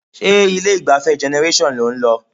Ṣé ilé-ìgbafẹ́ Generation lò ń lọ?